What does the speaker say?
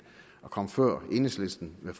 og komme før enhedslisten med